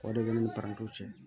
O de bɛ ne ni parantiw cɛ